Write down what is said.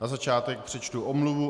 Na začátek přečtu omluvu.